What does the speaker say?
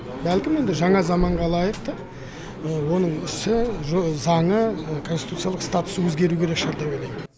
бәлкім енді жаңа заманға лайықты оның ісі заңы конституциялық статусы өзгеруі керек шығар деп ойлаймын